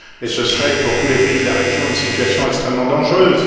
Ce serait pour tous les pays de la région une situation extrêmement dangereuse.